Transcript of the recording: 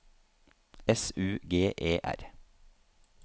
S U G E R